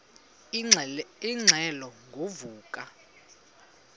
ingxelo ngo vuko